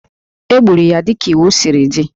E gburu ya dịka iwu siri dị